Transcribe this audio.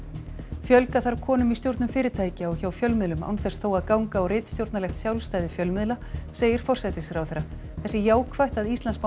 fjölga þarf konum í stjórnum fyrirtækja og hjá fjölmiðlum án þess þó að ganga á ritstjórnarlegt sjálfstæði fjölmiðla segir forsætisráðherra það sé jákvætt að Íslandsbanki